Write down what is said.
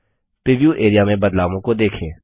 preview area में बदलावों को देखें